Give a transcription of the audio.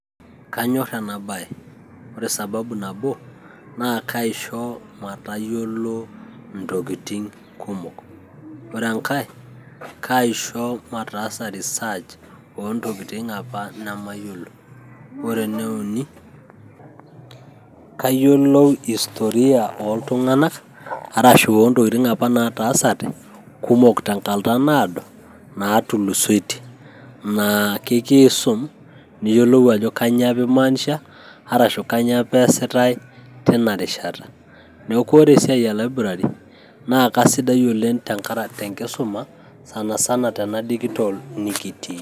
Kanyorr ena bae ore sababui nabo naa kaasho matayiolo entokitin' kumok, ore engae kaisho mataasa research namayiolo, ore ene uni kaisho matayiolo hostoria oontokitin apa nataasate kumok teng'ata naado naatulusoitie, naa kakiisum niyiolou ajo kanyio apa emaanisha arashu kanyio apa eesitae teina rishata, neaku ore esiai elaiburari naa kesidai oleng' tenkar tenkisuma sanasana tena dijital nikitii.